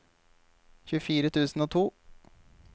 tjuefire tusen og to